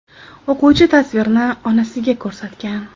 O‘quvchi tasvirni onasiga ko‘rsatgan.